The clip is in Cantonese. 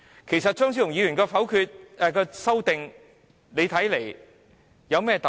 其實，張超雄議員的修正案有何特別？